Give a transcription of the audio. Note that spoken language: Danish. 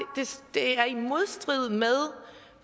det er i modstrid med